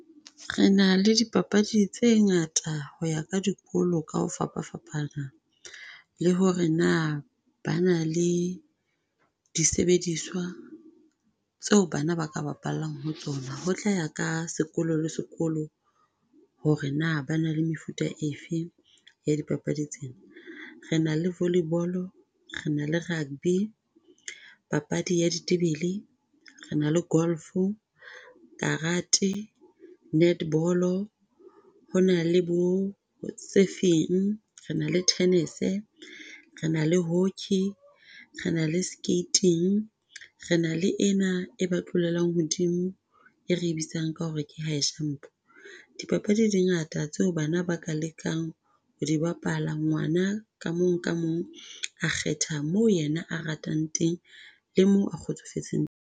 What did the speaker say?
Re na le dipapadi tse ngata ho ya ka dikolo ka ho fapafapana, le ho re na ba na le disebediswa tseo bana ba ka bapallang ho tsona. Ho tla ya ka sekolo le sekolo, ho re na ba na le mefuta efe ya dipapadi tsena. Re na le volley-bolo, re na le rugby, papadi ya ditebele, re na le golf-o, karate, net-bolo, ho na le bo tse feng re na le tennis-e, re na le hockey, re na le skating, re na le ena e ba tlolelang hodimo, e re bitsang ka ho re ke high jump. Dipapadi di ngata tseo bana ba ka lekang ho dibapala, ngwana ka mong ka mong, a kgetha moo yena a ratang teng le moo a kgotsofetseng.